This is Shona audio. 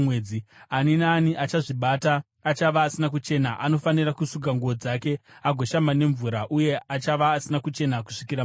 Ani naani achazvibata achava asina kuchena; anofanira kusuka nguo dzake agoshamba nemvura, uye achava asina kuchena kusvikira manheru.